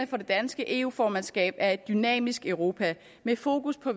det danske eu formandskabs prioriteter er et dynamisk europa med fokus på